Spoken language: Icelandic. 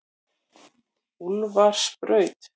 Úlfarsbraut